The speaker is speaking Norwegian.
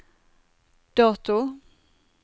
dato